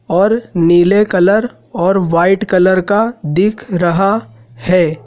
और नीले कलर और वाइट कलर का दिख रहा है।